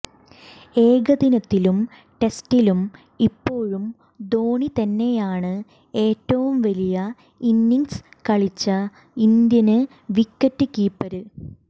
ഏകദിനത്തിലും ടെസ്റ്റിലും ഇപ്പോഴും ധോണി തന്നെയാണ് ഏറ്റവും വലിയ ഇന്നിങ്സ് കളിച്ച ഇന്ത്യന് വിക്കറ്റ് കീപ്പര്